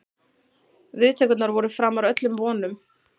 Viðtökurnar voru framar öllum vonum